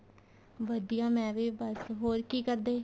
ਵਧੀਆ ਮੈ ਵੀ ਬੱਸ ਹੋਰ ਕੀ ਕਰਦੇ